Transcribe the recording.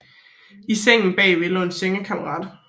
I sengen bagved lå en sengekammerat